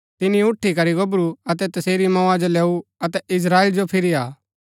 तिनी उठी करी गोबरू अतै तसेरी मौआ जो लैऊ अतै इस्त्राएल जो फिरी आ